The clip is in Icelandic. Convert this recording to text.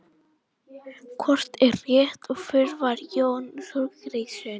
Hvort er rétt og hver var Jón Þorgeirsson?